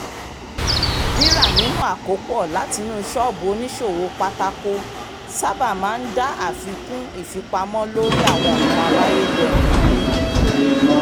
rírà nínú àkópọ̀ látinú ṣọ́ọ̀bù oníṣòwò pátákó sábà máa ń dá àfikún ìfipamọ́ lórí àwọn nǹkan amáyédẹrùn ilé